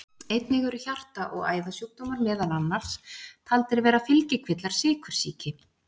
einnig eru hjarta og æðasjúkdómar meðal annars taldir vera fylgikvillar sykursýki